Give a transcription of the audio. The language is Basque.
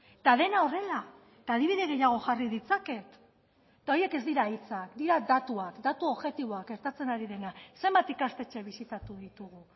eta dena horrela eta adibide gehiago jarri ditzaket eta horiek ez dira hitzak dira datuak datu objektiboak gertatzen ari dena zenbat ikastetxe bisitatu ditugu